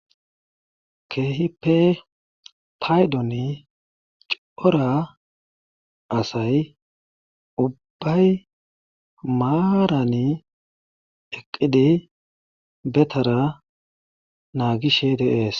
Keehippe paydoni cora asay ubbay maarani eqqidi be taraa naagishe de7ees.